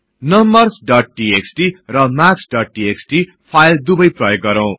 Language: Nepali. नम्बर्स डोट टीएक्सटी र मार्क्स डोट टीएक्सटी फाईल दुवै प्रयोग गरौ